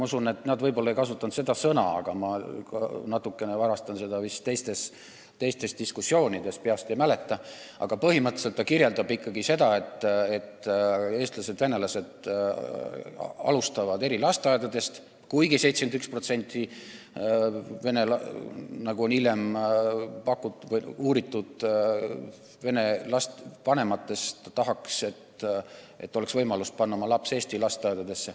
Nad ei kasuta võib-olla seda sõnaühendit – ma vist natuke varastan teistest diskussioonidest, ei mäleta peast –, aga põhimõtteliselt kirjeldab aruanne ikkagi seda, et eestlased ja venelased alustavad haridusteed eri lasteaedadest, kuigi hilisemate uuringute järgi tahaks 71% vene vanematest, et neil oleks võimalus panna oma laps eesti lasteaeda.